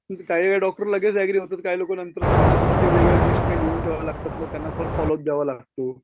काही काही डॉक्टर लगेच ऍग्री होतात काही लोकं नंतर सांगतात मग ते वेगळ्या लिस्टने लिहून ठेवाव्या लागतात.मग त्यांना परत फोल्लो अप द्यावा लागतो.